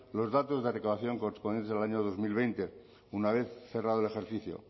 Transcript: los datos de recaudación correspondientes al año dos mil veinte una vez cerrado el ejercicio